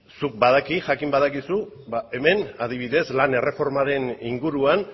zuk badakit jakin badakizu hemen adibidez lan erreformaren inguruan